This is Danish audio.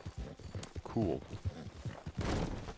Kurup